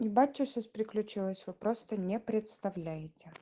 ебать чё сейчас приключилась вы просто не представляете